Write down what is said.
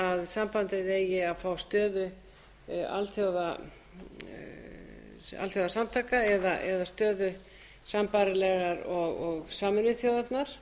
sambandið eigi að fá stöðu alþjóðasamtaka eða stöðu sambærilega og sameinuðu þjóðirnar